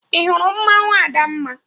Ị hụrụ mmanwụ Adamma?